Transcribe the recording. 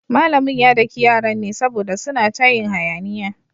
Malamin ya daki yaran ne saboda suna ta yin hayaniya.